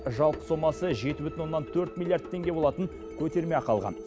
жалпы сомасы жеті бүтін оннан төрт миллиард теңге болатын көтерме ақы алған